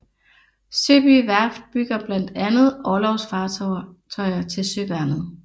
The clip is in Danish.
Søby Værft bygger blandt andet orlogsfartøjer til Søværnet